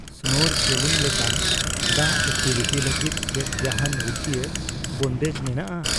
Snorkelling ᱞᱮᱠᱟᱱ ᱫᱟᱜ activity ᱞᱟᱹᱜᱤᱫ ᱪᱮᱫ ᱡᱟᱦᱟᱱ ᱨᱩᱠᱷᱟᱹᱭᱤ ᱵᱚᱱᱫᱮᱡ ᱢᱮᱱᱟᱜᱼᱟ ?